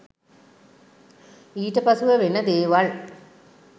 ඊට පසුව වෙන දේවල්